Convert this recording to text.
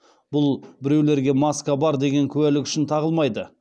бұл біреулерге маска бар деген куәлік үшін тағылмайды